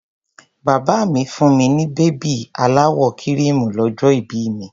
Bàbá mi fún mi ní bèbí aláwọ̀ kíríìmù lọ́jọ́ ìbí mi.